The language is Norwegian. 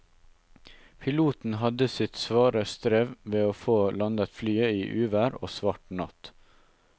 Piloten hadde sitt svare strev med å få landet flyet i uvær og svart natt.